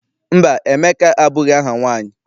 Mba, Emeka abụghị aha nwaanyị.